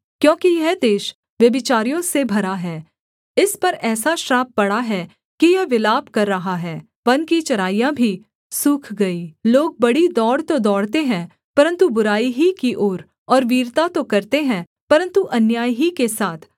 क्योंकि यह देश व्यभिचारियों से भरा है इस पर ऐसा श्राप पड़ा है कि यह विलाप कर रहा है वन की चराइयाँ भी सूख गई लोग बड़ी दौड़ तो दौड़ते हैं परन्तु बुराई ही की ओर और वीरता तो करते हैं परन्तु अन्याय ही के साथ